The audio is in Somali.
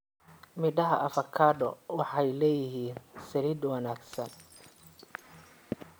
Midhaha avocado waxay leeyihiin saliid wanaagsan.